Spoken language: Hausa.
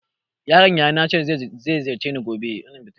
My nephew said he will visit me tomorrow.